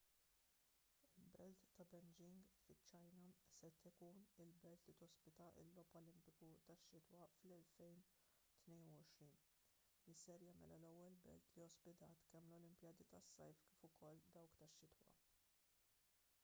il-belt ta' beijing fiċ-ċina se tkun il-belt li tospita l-logħob olimpiku tax-xitwa fl-2022 li se jagħmilha l-ewwel belt li ospitat kemm l-olimpjadi tas-sajf kif ukoll dawk tax-xitwa